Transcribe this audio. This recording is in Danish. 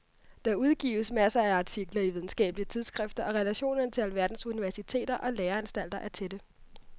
Der udgives masser af artikler i videnskabelige tidsskrifter og relationerne til alverdens universiteter og læreanstalter er tætte.